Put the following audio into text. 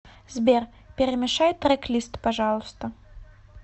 сбер перемешай трек лист пожалуйста